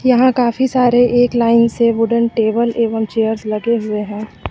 यहां काफी सारे एक लाइन से वुडन टेबल एवं चेयर्स लगे हुए हैं।